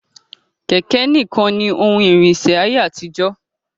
Kẹ̀kẹ̀ ní kan ní oun ìrìnsẹ̀ ní ayé àtijó.